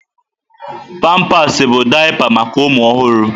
Pampasị bụ daịpa maka ụmụ ọhụrụ.